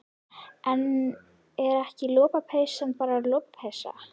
En er ekki lopapeysa bara lopapeysa?